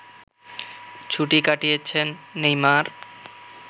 ছুটি কাটিয়েছেন নেইমার